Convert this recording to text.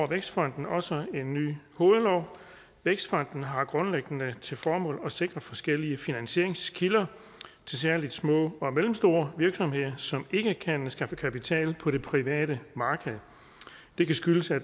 vækstfonden også en ny hovedlov vækstfonden har grundlæggende til formål at sikre forskellige finansieringskilder til særlig små og mellemstore virksomheder som ikke kan skaffe kapital på det private marked det kan skyldes at